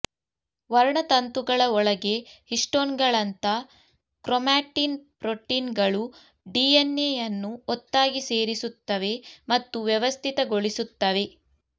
ವರ್ಣತಂತುಗಳ ಒಳಗೆ ಹಿಸ್ಟೋನ್ಗಳಂತ ಕ್ರೊಮಾಟಿನ್ ಪ್ರೋಟೀನ್ಗಳು ಡಿಎನ್ಎಯನ್ನು ಒತ್ತಾಗಿ ಸೇರಿಸುತ್ತವೆ ಮತ್ತು ವ್ಯವಸ್ಥಿತಗೊಳಿಸುತ್ತವೆ